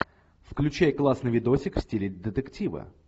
включай классный видосик в стиле детектива